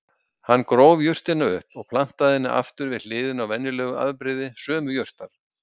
Hann gróf jurtina upp og plantaði henni aftur við hliðina á venjulegu afbrigði sömu jurtar.